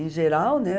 Em geral, né?